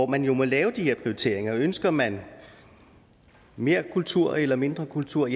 man jo lave de her prioriteringer ønsker man mere kultur eller mindre kultur